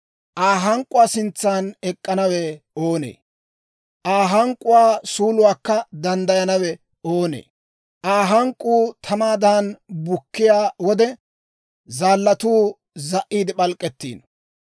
Aa hank'k'uwaa sintsan ek'k'anawe oonee? Aa hank'k'uwaa suuluwaakka danddayanawe oonee? Aa hank'k'uu tamaadan bukkiyaa wode, zaallatuu za"iide p'alk'k'ettiino.